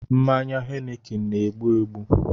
Mmanya heineken na-egbu egbu